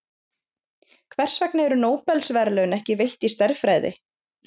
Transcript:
Hvers vegna eru Nóbelsverðlaun ekki veitt í stærðfræði?